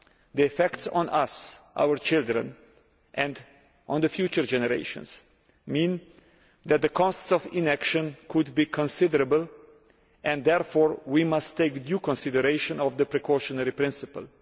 The effects on us, our children, and on future generations mean that the costs of inaction could be considerable, and therefore we must take due consideration of the precautionary principle.